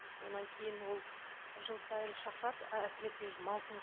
содан кейін ол жыл сайын шақырады әсіресе маусым